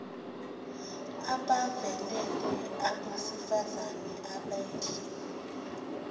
abavelele abasifazane abadle